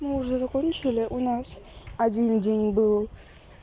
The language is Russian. мы уже закончили у нас один день был